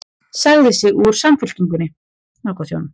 Sagði sig úr Samfylkingunni